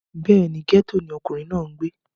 bẹ́ẹ̀ni, gẹ́tò ni ọkùnrin náà ń gbé